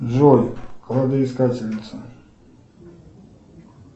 джой кладоискательница